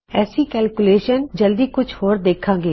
ਐਸੀ calculations ਅਸੀਂ ਜਲਦੀ ਕੁਝ ਹੋਰ ਦੇਖਾਂਗੇ